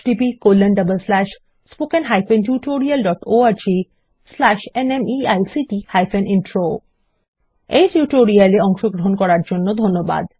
httpspoken tutorialorgNMEICT Intro এই tutorial এ অংশগ্রহন করার জন্য ধন্যবাদ